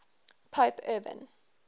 pope urban